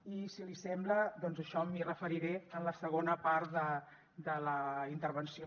i si l’hi sembla doncs a això m’hi referiré en la segona part de la intervenció